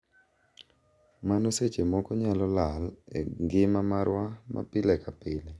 Mano seche moko nyalo lal e ngima marwa ma pile ka pile.